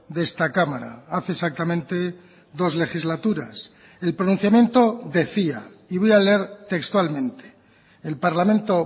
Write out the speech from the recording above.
de esta cámara hace exactamente dos legislaturas el pronunciamiento decía y voy a leer textualmente el parlamento